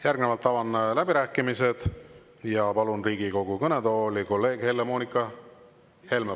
Järgnevalt avan läbirääkimised ja palun Riigikogu kõnetooli kolleeg Helle-Moonika Helme.